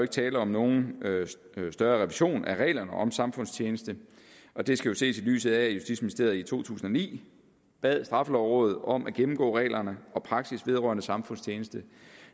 tale om nogen større revision af reglerne om samfundstjeneste og det skal jo ses i lyset af at justitsministeriet i to tusind og ni bad straffelovrådet om at gennemgå reglerne og praksis vedrørende samfundstjeneste